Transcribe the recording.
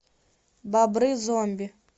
бобры зомби